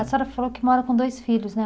A senhora falou que mora com dois filhos, né?